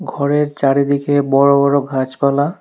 ঘরের চারিদিকে বড় বড় গাছপালা।